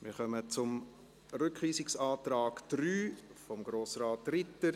Wir kommen zum Rückweisungsantrag 3 von Grossrat Ritter.